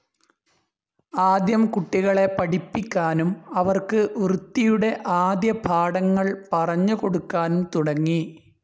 ആദ്യം കുട്ടികളെ പഠിപ്പിക്കാനും അവർക്ക് വൃത്തിയുടെ ആദ്യപാഠങ്ങൾ പറഞ്ഞു കൊടുക്കാനും തുടങ്ങി.